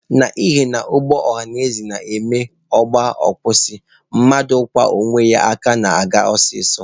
N'ihina ụgbọ ọhanaeze na-eme ọ gaa, ọ kwụsị, mmadụ ịkwọ onwe ya ga-aka aga ọsọ ọsọ.